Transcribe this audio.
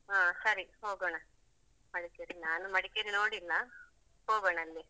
ಹ ಸರಿ ಹೋಗೋಣ. ಮಡಿಕೇರಿ ನಾನು ಮಡಿಕೇರಿ ನೋಡಿಲ್ಲ ಹೋಗೋಣ ಅಲ್ಲಿ.